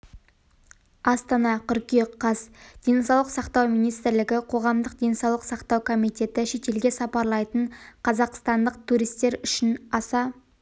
астана қыркүйек қаз денсаулық сақтау министрлігі қоғамдық денсаулық сақтау комитеті шетелге сапарлайтын қазақстандық туристер үшін аса